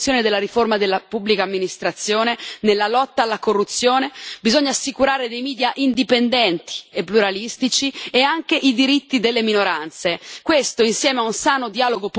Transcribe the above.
Servono ulteriori sforzi nell'attuazione della riforma della pubblica amministrazione e nella lotta alla corruzione e bisogna assicurare dei media indipendenti e pluralistici e anche i diritti delle minoranze.